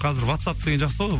қазір ватсап деген жақсы ғой